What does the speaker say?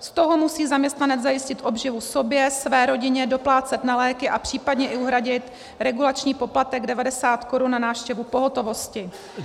Z toho musí zaměstnanec zajistit obživu sobě, své rodině, doplácet na léky a případně i uhradit regulační poplatek 90 Kč za návštěvu pohotovosti.